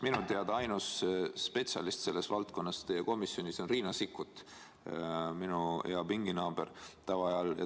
Minu teada ainus spetsialist selles valdkonnas teie komisjonis on Riina Sikkut, minu hea pinginaaber tavaajal.